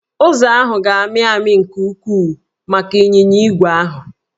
Ụzọ ahụ ga-amị amị nke ukwuu maka ịnyịnya ígwè ahụ